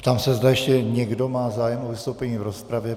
Ptám se, zdali ještě někdo má zájem o vystoupení v rozpravě.